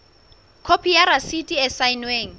khopi ya rasiti e saennweng